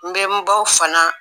N be n baw fana